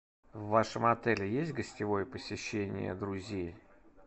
в вашем отеле есть гостевое посещение друзей